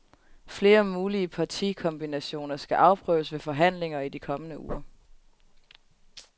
Flere mulige partikombinationer skal afprøves ved forhandlinger i de kommende uger.